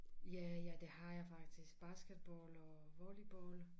Ja ja det har jeg faktisk basketball og volleyball